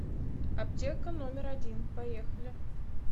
аптека номер один поехали